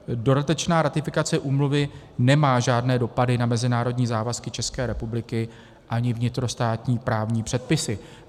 Dodatečná ratifikace úmluvy nemá žádné dopady na mezinárodní závazky České republiky ani vnitrostátní právní předpisy.